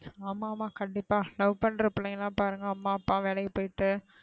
ஆமா ஆமா கண்டிப்பா love பண்ற பிள்ளைன்கலாம் அம்மா அப்பா வேளைக்கு போய்ட்டு,